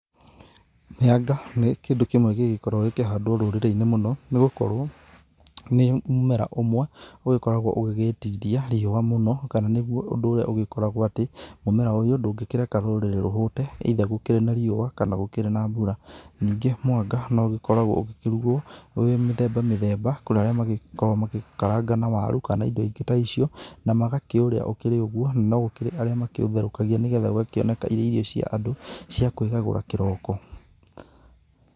Mĩanga nĩ kĩndũ kĩmwe gĩgĩkorwo gĩkĩhandwo rũrĩrĩ-inĩ mũno, nĩgũkorwo nĩ mũmera ũmwe ũgĩkoragwo ũgĩgĩtiria riũa mũno kana nĩgwo ũndũ ũrĩa ũgĩkoragwo atĩ mũmera ũyũ ndũngĩkĩreka rũrĩrĩ rũhũte, either gũkĩrĩ na riũa kana gũkĩrĩ na mbura. Ningĩ mwanga no ũgĩkoragwo ũgĩkĩrugwo wĩ mĩthemba mĩthemba, kũrĩ arĩa magĩkoragwo magĩkaranga na waru kana indo ingĩ ta icio na magakĩũrĩa ũkĩrĩ ũgwo, na no gũkĩrĩ arĩa makĩũtherũkagia nĩgetha ũgakĩoneka irĩ irio cia andũ cia kwĩgagũra kĩroko.